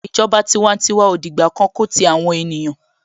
Ìjọba tiwantiwa ò dìgbà kan ko ti àwọn ènìyàn.